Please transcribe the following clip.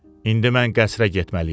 İndi mən qəsrə getməliyəm.